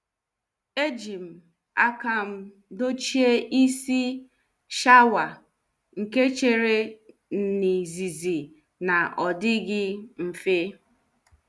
Ejim akam dochie isi shaawa nke chere n' izizi na- odighi mfe.